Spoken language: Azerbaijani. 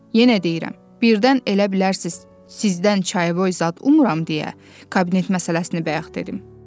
Yenə deyirəm, birdən elə bilərsiz, sizdən çayboy zad ummuram deyə, kabinet məsələsini bayaq dedim.